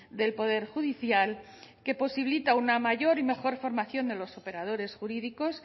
del poder judicial que posibilita una mayor y mejor formación de los operadores jurídicos